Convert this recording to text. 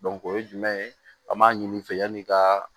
o ye jumɛn ye an b'a ɲini fɛ yani ka